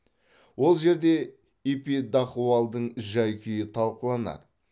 ол жерде эпидахуалдың жай күйі талқыланады